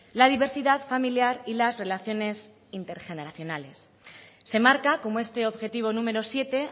la diversidad familiar y las relaciones intergeneracionales se marca como este objetivo número siete